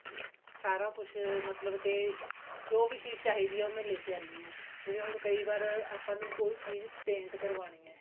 ਸਾਰਾ ਕੁਛ ਮਤਲਬ ਕਿ ਜੋ ਵੀ ਚੀਜ਼ ਚਾਹੀਦੀ ਹੈ ਉਹ ਮੈਂ ਲੈਕੇ ਆਉਂਦੀ ਹਾਂ ਜਿਵੇਂ ਹੁਣ ਕਈ ਵਾਰ ਆਪਾਂ ਕੋਈ ਚੀਜ਼ paint ਕਰਵਾਉਣੀ ਹੈ